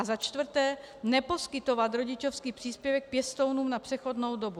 A za čtvrté - neposkytovat rodičovský příspěvek pěstounům na přechodnou dobu.